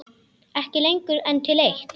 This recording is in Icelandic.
Ekki lengur en til eitt.